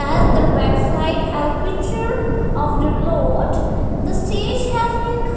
as their backside have a picture of the the stage has been c --